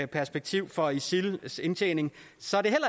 perspektiv for isils indtjening